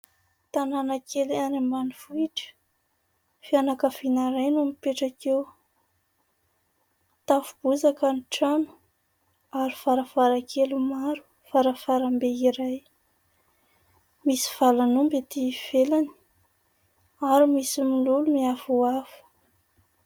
Tanàna kely any ambanivohitra, fianakaviana iray no mipetraka eo. Tafo bozaka ny trano ary varavaran-kely maro, varavaram-be iray. Misy valan'omby aty ivelany ary misy mololo miavoavo.